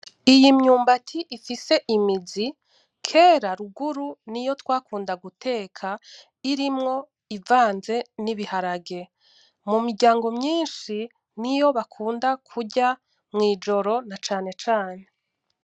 Iyi myumbati ifise imizi kera ruguru niyo twakunda guteka irimwo ivanze n’ibiharage, mumiryango myinshi niyo bakunda kurya mwijoro na cane cane.